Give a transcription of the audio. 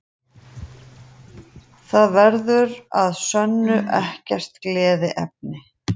Það verður að sönnu ekkert gleðiefni